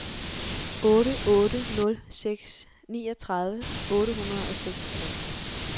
otte otte nul seks niogtredive otte hundrede og seksogtres